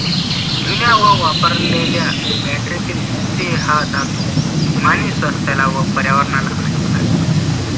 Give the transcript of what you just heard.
जुन्या व वापरलेल्या बॅटरीतील शिसे हा धातू मानवी स्वास्थ्याला व पर्यावरणाला हानिकारक असतो.